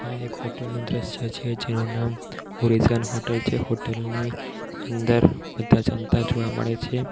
એક હોટલ નું દ્રશ્ય છે જેનું નામ ઓરીઝોન હોટલ છે હોટલ ની અંદર બધા જમતા જોવા મળે છે.